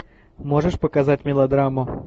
можешь показать мелодраму